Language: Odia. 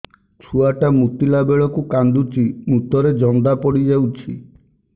ଛୁଆ ଟା ମୁତିଲା ବେଳକୁ କାନ୍ଦୁଚି ମୁତ ରେ ଜନ୍ଦା ପଡ଼ି ଯାଉଛି